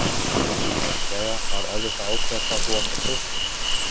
Heimir Már: Jæja, var erfitt að ákveða hvað þú átt að kjósa?